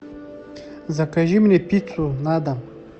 закажи мне пиццу на дом